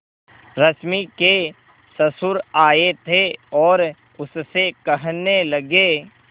रश्मि के ससुर आए थे और उससे कहने लगे